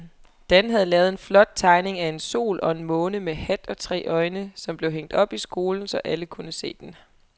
Dan havde lavet en flot tegning af en sol og en måne med hat og tre øjne, som blev hængt op i skolen, så alle kunne se den.